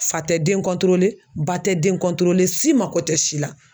Fa tɛ den ba tɛ den si mago tɛ si la